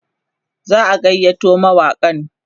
za'a gayyato mawaƙan